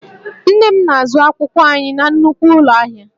Nne m na-azụ akwụkwọ anyị na nnukwu ụlọ ahịa